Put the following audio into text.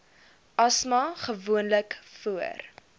asma gewoonlik voor